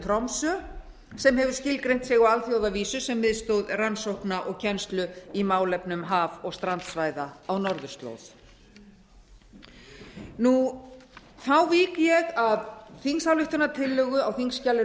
tromsö sem hefur skilgreint sig á alþjóðavísu sem miðstöð rannsókna og kennslu í málefnum haf og strandsvæða á norðurslóð þá vík ég að þingsályktunartillögu á þingskjali